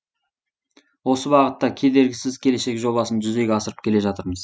осы бағытта кедергісіз келешек жобасын жүзеге асырып келе жатырмыз